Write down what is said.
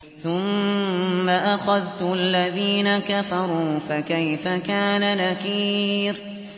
ثُمَّ أَخَذْتُ الَّذِينَ كَفَرُوا ۖ فَكَيْفَ كَانَ نَكِيرِ